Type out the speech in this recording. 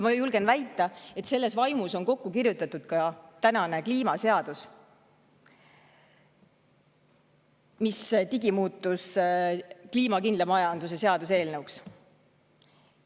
Ma julgen väita, et selles vaimus on kokku kirjutatud ka kliimaseadus, mis on digimuutunud kliimakindla majanduse seaduse eelnõuks.